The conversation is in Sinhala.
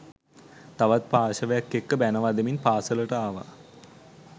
තවත් පාර්ශ්වයක් එක්ක බැණ වදිමින් පාසලට ආවා.